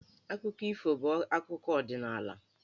Akụkọ ifo bụ akụkọ ọdịnaala.